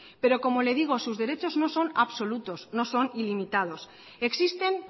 pero como le digo sus derechos no son absolutos no son ilimitados existen